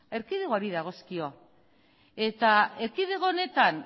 erkidegoari dagozkio eta erkidego honetan